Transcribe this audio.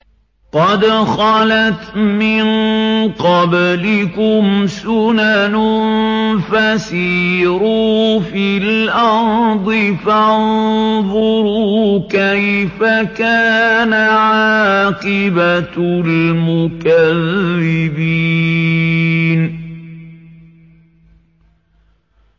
قَدْ خَلَتْ مِن قَبْلِكُمْ سُنَنٌ فَسِيرُوا فِي الْأَرْضِ فَانظُرُوا كَيْفَ كَانَ عَاقِبَةُ الْمُكَذِّبِينَ